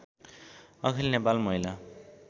अखिल नेपाल महिला